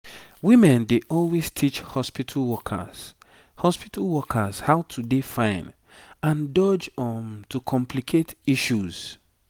women dey always teach hospitu workers hospitu workers how to dey fine and dodge um to complicate issues